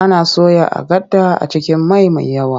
Ana soya agada a cikin mai mai yawa.